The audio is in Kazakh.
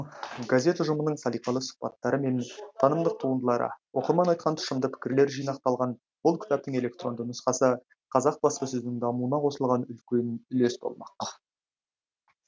газет ұжымының салиқалы сұқбаттары мен танымдық туындылары оқырман айтқан тұщымды пікірлер жинақталған бұл кітаптың электронды нұсқасы қазақ баспасөзінің дамуына қосылған үлкен үлес болмақ